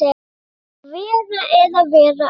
Að vera eða vera ekki.